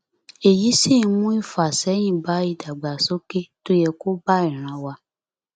èyí sì ń mú ìfàsẹyìn bá ìdàgbàsókè tó yẹ kó bá ìran wá